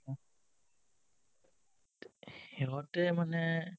সিহতে মানে